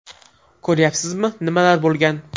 Ko‘ryapsizmi, nimalar bo‘lgan.